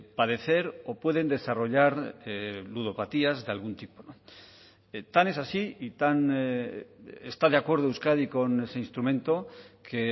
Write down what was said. padecer o pueden desarrollar ludopatías de algún tipo tan es así y tan está de acuerdo euskadi con ese instrumento que